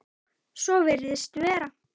Svo virðist vera.